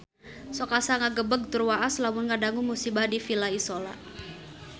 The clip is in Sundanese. Sok asa ngagebeg tur waas lamun ngadangu musibah di Villa Isola